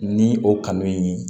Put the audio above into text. Ni o kanu in